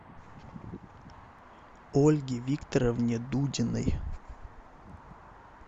ольге викторовне дудиной